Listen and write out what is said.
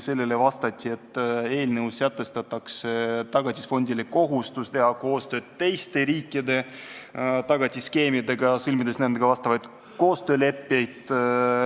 Sellele vastati, et eelnõus sätestatakse Tagatisfondile kohustus teha koostööd teiste riikide tagatisfondidega, sõlmides nendega vastavaid koostööleppeid.